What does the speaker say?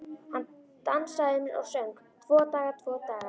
Hann dansaði um og söng: Tvo daga, tvo daga